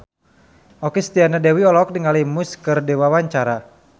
Okky Setiana Dewi olohok ningali Muse keur diwawancara